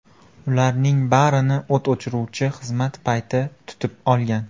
Ularning barini o‘t o‘chiruvchi xizmat payti tutib olgan.